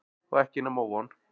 Og ekki nema von.